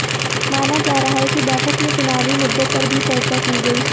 माना जा रहा है कि बैठक में चुनावी मुद्दों पर भी चर्चा की गई